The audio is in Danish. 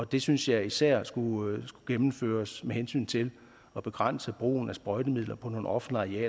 det synes jeg især skulle gennemføres med hensyn til at begrænse brugen af sprøjtemidler på nogle offentlige